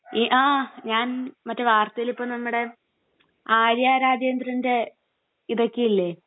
ഈ...ആ...ഞാൻ...മറ്റേ വാർത്തയിലിപ്പം നമ്മുടെ ആര്യാ രാജേന്ദ്രൻ്റെ ഇതൊക്കെയില്ലേ...